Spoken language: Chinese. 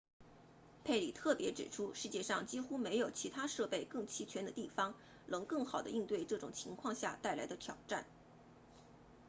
佩里特别指出世界上几乎没有其他设备更齐全的地方能更好地应对这种情况下带来的挑战